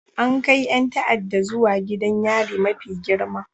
An kai 'yan ta'adda zuwa gidan yari mafi girma